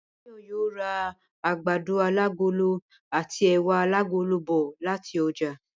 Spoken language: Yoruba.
Báyò̩ yóò ra àgbàdo alágolo àti è̩wà alágolo bò̩ láti o̩jà